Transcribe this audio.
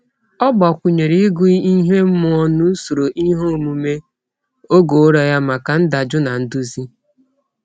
Ọ gbakwụnyere ịgụ ihe ime mmụọ n'usoro iheomume oge ụra ya maka ndajụ na nduzi.